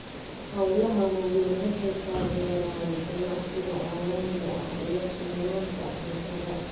Hawlaha waaweyni waxay taageeraan ganacsiga caalamiga ah iyo sugnaanta cuntada.